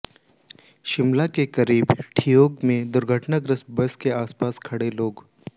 शिमला के करीब ठियोग में दुर्घटनाग्रस्त बस के आसपास खड़े लोग